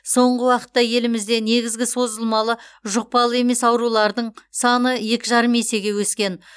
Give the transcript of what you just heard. соңғы уақытта елімізде негізгі созылмалы жұқпалы емес аурулардың саны екі жарым есеге өскен